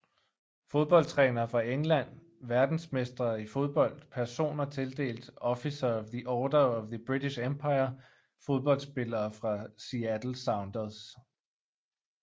Fodboldtrænere fra England Verdensmestre i fodbold Personer tildelt Officer of the Order of the British Empire Fodboldspillere fra Seattle Sounders